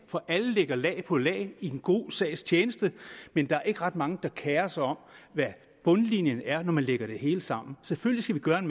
for alle lægger lag på lag i den gode sags tjeneste men der er ikke ret mange der kerer sig om hvad bundlinjen er når man lægger det hele sammen selvfølgelig skal vi gøre en